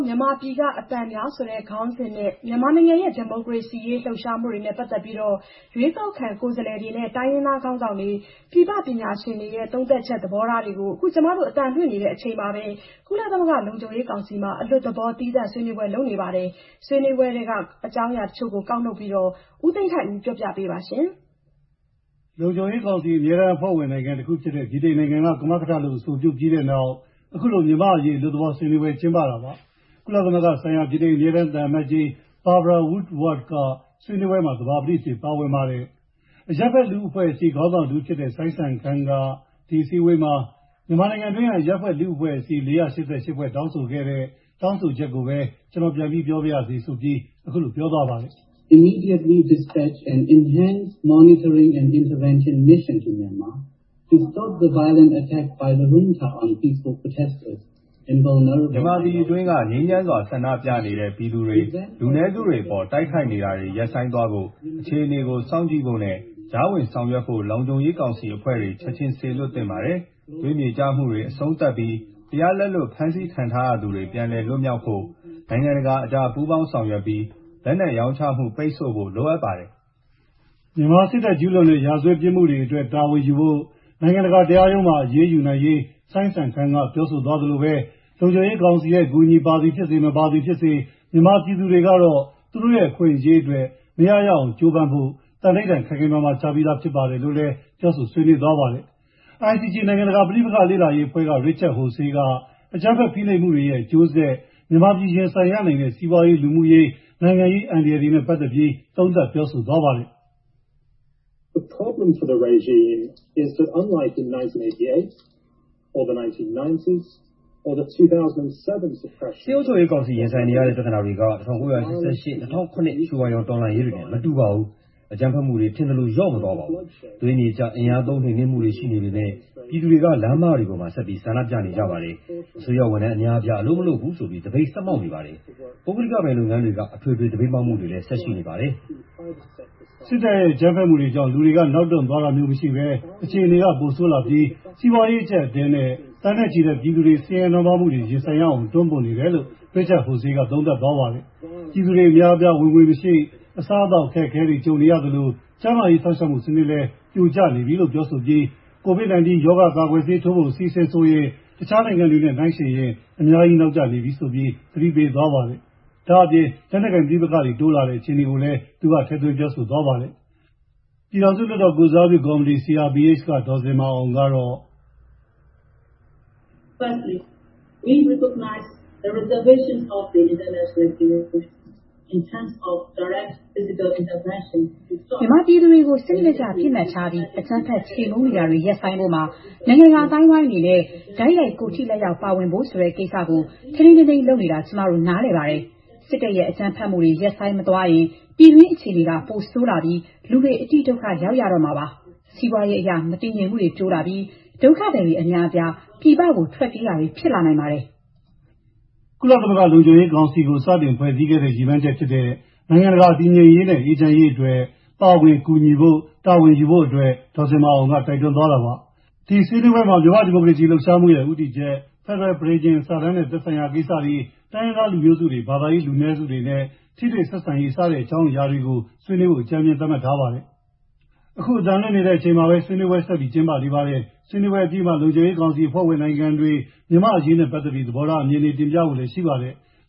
မြန်မာပြည်က အသံများ" ဆိုတဲ့ ခေါင်းစဉ်နဲ့ မြန်မာနိုင်ငံရဲ့ ဒီမိုကရေစီရေး လှုပ်ရှားမှုနဲ့ပတ်သက်လို့ ရွေးကောက်ခံ လွှတ်တော်ကိုယ်စားလှယ်တွေနဲ့ တိုင်းရင်းသားခေါင်းဆောင်တွေ၊ ပြင်ပ ပညာရှင်တွေရဲ့ သုံးသပ်ချက် သဘောထားတချို ဦးသိန်းထိုက်ဦးက စုစည်းတင်ပြထားပါတယ်။ လုံခြုံရေးကောင်စီ အမြဲတမ်း အဖွဲ့ဝင်နိုင်ငံဖြစ်တဲ့ ဗြိတိန်နိုင်ငံက ကမကထလုပ် အဆိုပြုပြီးတဲ့နောက် အခုလို မြန်မာ့အရေး အလွတ်သဘော ဆွေးနွေးပွဲ ကျင်းပတာပါ။ ကုလသမဂ္ဂဆိုင်ရာ ဗြိတိန် အမြဲတမ်း သံအမတ်ကြီး Barbara Woodward က ဆွေးနွေးပွဲမှာ သဘောပတိအဖြစ် ပါဝင်ပါတယ်။ အရပ်ဖက် လူမှုအဖွဲ့အစည်း ခေါင်းဆောင်တဦးဖြစ်တဲ့ စိုင်းစံခမ်းက မကြာသေးခင်က မြန်မာနိုင်ငံအတွင်းက အရပ်ဖက် လူမှုအဖွဲ့အစည်း ၄၈၈ ဖွဲ့ တောင်းဆိုခဲ့တဲ့ တောင်းဆိုချက်ကိုပဲ ကျနော်ပြန်ပြီး ကျနော်ပြောပါရစေ ဆိုပြီး အခုလို ပြောဆိုပါတယ်။ " မြန်မာပြည်တွင်းက ငြိမ်းချမ်းစွာ ဆန္ဒပြနေတဲ့ ပြည်သူတွေ၊ လူနည်းစုတွေအပေါ် တိုက်ခိုက်နေတာတွေ ရပ်ဆိုင်းသွားဖို့ အခြေအနေကို စောင့်ကြည့်ဖို့နဲ့ ကြားဝင်ဆောင်ရွက်ဖို့ လုံခြုံရေးကောင်စီက အဖွဲ့တွေချက်ခြင်း စေလွှတ်သင့်ပေးပါတယ်။ သွေးမြေကျမှုတွေ အဆုံးသတ်ပြီး တရားလက်လွတ်ဖမ်းဆီးခံထားရသူတွေ ပြန်လည်လွတ်မြောက်ဖို့ နိုင်ငံတကာအကြားပူးပေါင်းဆောင်ရွက်ပြီး လက်နက်ရောင်းချမှု ပိတ်ဆို့ဖို့ လိုအပ်ပါတယ်။" မြန်မာစစ်တပ် ကျုးလွန်တဲ့ ရာဇဝတ်ပြစ်မှုတွေအတွက် တာဝန်ယူဖို့ နိုင်ငံတကာ တရားရုံးမှာ အရေးယူနိုင်ရေး စိုင်းစံခမ်းက ပြောဆိုသွားသလို လုံခြုံရေးကောင်စီရဲ့ အကူအညီပါသည်ဖြစ်စေ မပါသည်ဖြစ်စေ မြန်မာပြည်သူတွေဟာ သူတို့ရဲ့ အခွင့်အရေးအတွက် မရရအောင်ကြိုးပမ်းဖို့ သန္နိဌာန် ခိုင်ခိုင်မာမာ ချပြီးသား ဖြစ်ပါတယ်လို့ စိုင်းစံခမ်းက အဓိက ပြောပါတယ်။ ICG နိုင်ငံတကာ ပဋိပက္ခလေ့လာရေးအဖွဲ့က Richard Horsey က အကြမ်းဖက် ဖိနှိပ်မှုတွေရဲ့ အကျိုးဆက် မြန်မာပြည် ရင်ဆိုင်ရနိုင်တဲ့ စီးပွားရေး၊ လူမှုရေး၊ နိုင်ငံရေး အန္တရာယ်တွေနဲ့ ပတ်သက်လို့ သုံးသပ်သွားပါတယ်။ "စစ်အုပ်ချုပ်ကောင်စီ ရင်ဆိုင်နေရတဲ့ ပြသနာတွေ ၁၉၈၈ ခုနှစ်၊ ၂၀၀၇ ခုနှစ် ရွှေဝါရောင် တော်လှန်ရေးတွေနဲ့ မတူပါဘူး။ အကြမ်းဖက်မှုတွေက ထင်သလို လျော့နည်းမသွားဘူး။ သွေးမြေကျ အင်အားသုံး နှိမ်နှင်းမှုတွေ ရှိနေပေမဲ့ ပြည်သူတွေက လမ်းမတွေပေါ်မှာ ဆက်ပြီး ဆန္ဒပြနေကြပါတယ်။ အစိုးရဝန်ထမ်း အများအပြား အလုပ်မလုပ်ဘူးဆိုပြီး သပိတ်ဆက်မှောက်နေပါတယ်။ ပုဂ္ဂလိကပိုင်လုပ်ငန်းတွေက အထွေထွေ သပိတ်မှောက်မှုတွေလည်း ဆက်ရှိနေပါတယ်။" စစ်တပ်ရဲ့ အကြမ်းဖက်မှုတွေကြောင့် လူတွေက နောက်တွန့်သွားတာမျိုး မရှိဘဲ အခြေအနေက ပိုဆိုးလာပြီး စီးပွားရေး အကြပ်အတည်းနဲ့ သန်းနဲ့ချီတဲ့ ပြည်သူတွေ ဆင်းရဲနွမ်းပါးမှုတွေ ရင်ဆိုင်ရအောင် တွန်းပို့နေတယ်လို့လည်း.Richard Horsey က သုံးသပ်သွားပါတယ်။ " ပြည်သူအများအပြား ဝင်ငွေမရှိ၊ အစားအသောက် အခက်ခဲကြုံရသလို ကျန်းမာရေး စောင့်ရှောက်မှုစနစ်လည်း ပြိုကျသွားတယ်။ ကိုဗစ် 19 ရောဂါကာကွယ်ဆေးထိုးဖို့ အစီအစဉ်ဆိုရလည်း တခြားနိုင်ငံတွေနဲ့ နှိုင်းယှဉ်ရင် သိပ်နောက်ကျ နေပြီ" လို့ သတိပေးပါတယ်။ လက်နက်ကိုင်ပဋိပက္ခတွေ တိုးလာတယ်လို့လည်း ပြောပါတယ်။ ပြည်ထောင်စုလွှတ်တော်ကိုယ်စားပြုကော်မတီ က CRPH က ဒေါ်ဇင်မာအောင် ကတော့.. " မြန်မာပြည်သူတွေကို စနစ်တကျ ပစ်မှတ်ထားပြီး အကြမ်းဖက် ခြေမှုန်းနေတာတွေ ရပ်ဆိုင်းဖို့မှာ နိုင်ငံတကာ အသိုင်းအဝိုင်အနေနဲ့ တိုက်ရိုက် ကိုယ်ထိလက်ရောက် ဝင်ပါဖို့ ဆိုတဲ့ ကိစ္စကို ထိန်းထိန်းသိမ်းသိမ်း လုပ်နေတာ ကျမတို့ နားလည်ပါတယ်။ စစ်တပ်ရဲ့ အကြမ်းဖက်မှုတွေ ရပ်ဆိုင်းမသွားရင် ြပ်ညတွှု်း အခြေအနေက ပိုဆိုးလာပြီး လူတွေ အတိဒုက္ခရောက်ရတော့မှာပါ။ စီးပွားရေးအရ မတည်ငြိမ်မှုတွေ တိုးလာပြီး ဒုက္ခသည်တွေအများအပြား ပြည်ပကို ထွက်ပြေးတာတွေ ဖြစ်လာနိုင်ပါတယ်"။ ကုလသမဂ္ဂလုံခြုံရေးကောင်စီကို စတင်ဖွဲ့စည်းခဲ့တဲ့ နိုင်ငံတကာ တည်ငြိမ်ရေးနဲ့ အေးချမ်းရေး အတွက် ပါဝင်ကူညီဖို့ တာဝန်ယူဖို့အတွက် ဒေါ်ဇင်မာအောင်က တိုက်တွန်းသွားပါတယ်။ ဒီဆွေးနွေးပွဲမှာ မြန်မာ့ ဒီမိုကရေစီ လှုပ်ရှားမှုရဲ့ ဦးတည်ချက်၊ ဖက်ဒရယ် ပဋိညာဉ်စာတမ်းနဲ့ သက်ဆိုင်ရာကိစ္စ၊ တိုင်းရင်းသားလူမျိုးစုတွေ၊ ဘာသာရေး လူနည်းစုတွေနဲ့ ထိတွေ့ဆက်ဆံရေး စတဲ့ အကြောင်းအရာတွေကို ဆွေးနွေးဖို့ အကြမ်းမျဉ်း သတ်မှတ်ထားပါတယ်။ ဆွေးနွေးပွဲ အပြီးမှာ လုံခြုံရေးကောင်စီ အဖွဲ့ဝင်နိုင်ငံတွေရဲ့ မြန်မာ့အရေး သြေဘောထားတွေ တင်ပြပြောဆိုဖို့လည်း ရှိပါတယ်